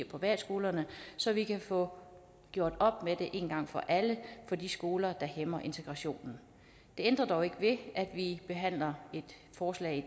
privatskolerne så vi kan få gjort op med det en gang for alle på de skoler der hæmmer integrationen det ændrer dog ikke ved at vi i behandler et forslag